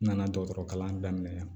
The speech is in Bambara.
N nana dɔgɔtɔrɔ kalan daminɛ